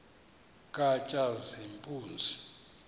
katshazimpuzi